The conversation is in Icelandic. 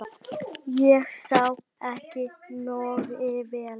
. ég sá það ekki nógu vel.